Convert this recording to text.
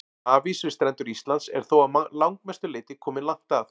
Hafís við strendur Íslands er þó að langmestu leyti kominn langt að.